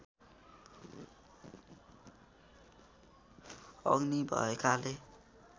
अग्नि भएकाले